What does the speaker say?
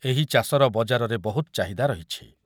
ଏହି ଚାଷର ବଜାରରେ ବହୁତ ଚାହିଦା ରହିଛି ।